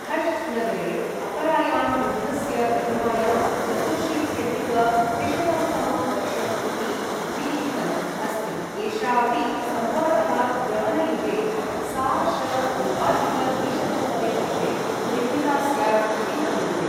हष्ट् नगरे अपरायां बुद्धस्य प्रतिमायां, चतुर्शीत्यधिक त्रिशतं तमं वर्षम् इति अभिलिखितम् अस्ति, एषा अपि सम्भवतः यवन युगे, सा.श.नवाधिक द्विशतं तमे वर्षे निर्मिता स्यात् इति मन्यन्ते।